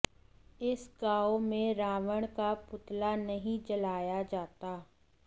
इस गांव में रावण का पुतला नहीं जलाया जाता